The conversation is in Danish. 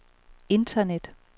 internet